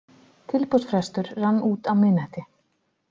Tilboðsfrestur rann út á miðnætti